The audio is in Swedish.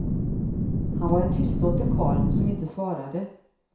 Han var en tystlåten karl, som inte svarade.